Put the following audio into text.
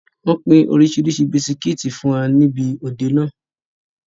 Wọn pin oríṣiríṣi bisikítì fún wa nibi òde náà.